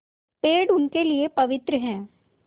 पेड़ उनके लिए पवित्र हैं